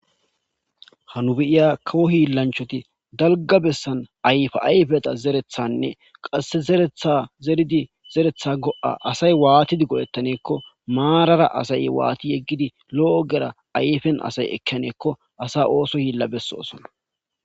Ha nu be7iya kawo hiilanchchati dalgga bessan ayfa ayfeta zerethanee qasse zereththa zeridi zereththa go7a asay waatidi go7etaneeko maarara asay waathi yegidi lo7o ogera ayfen asay ekkannekko asa ooso hiila besoosona.